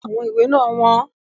Àwọn ìwé náà wọ́n.